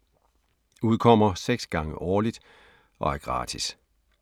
Udkommer 6 gange årligt og er gratis.